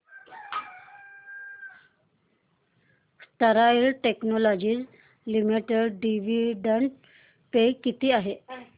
Sterlite technologies limited dividend pay किती आहे